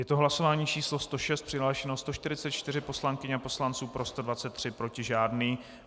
Je to hlasování číslo 106, přihlášeno 144 poslankyň a poslanců, pro 123, proti žádný.